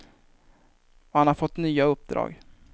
Och han har fått nya uppdrag.